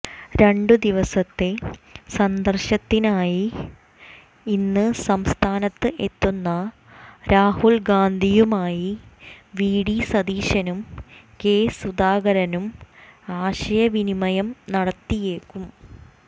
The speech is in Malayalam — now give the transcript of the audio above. രണ്ടു ദിവസത്തെ സന്ദർശനത്തിനായി ഇന്ന് സംസ്ഥാനത്ത് എത്തുന്ന രാഹുൽഗാന്ധിയുമായി വിഡി സതീശനും കെ സുധാകരനും ആശയവിനിമയം നടത്തിയേക്കും